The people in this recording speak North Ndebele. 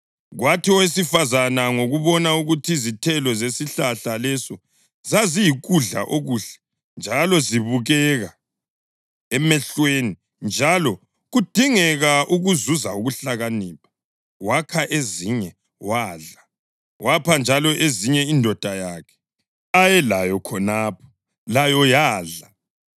Kwathi owesifazane ngokubona ukuthi izithelo zesihlahla leso zaziyikudla okuhle njalo zibukeka emehlweni, njalo kudingeka ukuzuza ukuhlakanipha, wakha ezinye wadla. Wapha njalo ezinye indoda yakhe ayelayo khonapho, layo yadla.